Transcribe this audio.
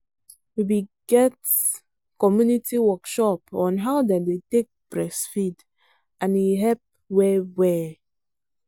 we be get community workshop on how them take day breastfeed and e help well well.